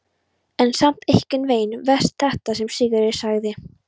En samt einhvern veginn verst þetta sem Sigríður sagði.